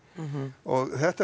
og þetta er